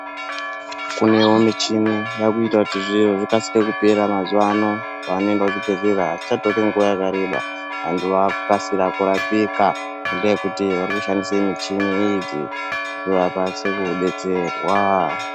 kunevo michini yakuita kuti zviro zvikasire kupera mazuva ano paanoenda kuchibhedhlera hazvichatori nguva yakareba. Antu akukasira kurapika ngendaa yekuti vari kushandisa michini idzi kuti vakwanise kubetserwa.